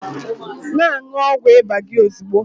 Na-aṅụ ọgwụ ịba gị ozugbo!